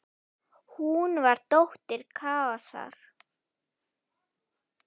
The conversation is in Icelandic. Hún var dóttir Kaosar.